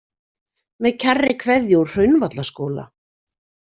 Með kærri kveðju úr Hraunvallaskóla.